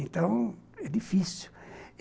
Então, é difícil.